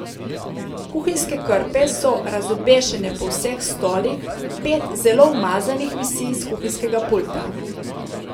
Kuhinjske krpe so razobešene po vseh stolih, pet zelo umazanih visi s kuhinjskega pulta.